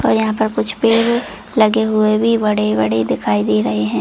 और यहाँ पे कुछ पेड़ लगे हुए भी बड़े-बड़े दिखाई दे रहे है।